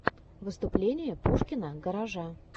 выступление пушкина гаража